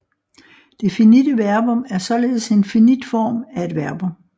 Det finitte verbum er således en finit form af et verbum